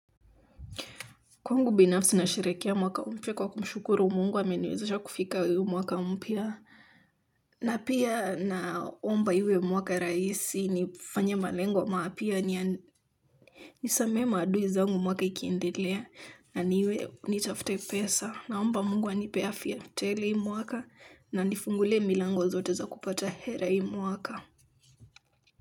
Kwangu binafsi nasherehekea mwaka mpya kwa kumshukuru Mungu kwa ameniwezesha kufika huu mwaka mpya. Na pia naomba iwe mwaka rahisi nifanye malengo mapya nisamehe maadui zangu mwaka ikiendelea. Na niwe nitafte pesa naomba Mungu anipee afya tele hii mwaka na anifungulie milango zote za kupata hela hii mwaka.